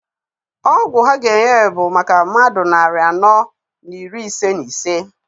Ọgwụ ha ga-enye bụ maka mmadụ narị anọ na iri ise na ise.